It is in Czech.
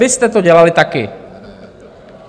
Vy jste to dělali taky.